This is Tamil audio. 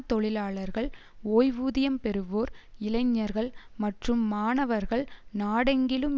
தொழிலாளர்கள் ஓய்வூதியம் பெறுவோர் இளைஞர்கள் மற்றும் மாணவர்கள் நாடெங்கிலும்